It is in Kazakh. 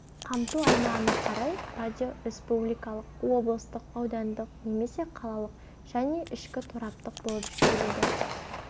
қамту аумағына қарай радио республикалық облыстық аудандық немесе қалалық және ішкі тораптық болып жіктеледі